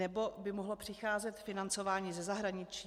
Nebo by mohlo přicházet financování ze zahraničí?